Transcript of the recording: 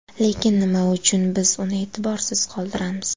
Lekin nima uchun biz uni e’tiborsiz qoldiramiz?